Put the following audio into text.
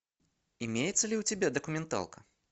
имеется ли у тебя документалка